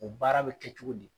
O baara bi kɛ cogo di ?